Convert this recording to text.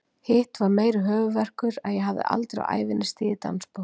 Hitt var meiri höfuðverkur, að ég hafði aldrei á ævinni stigið dansspor.